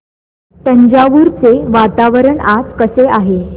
तंजावुर चे वातावरण आज कसे आहे